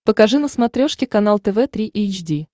покажи на смотрешке канал тв три эйч ди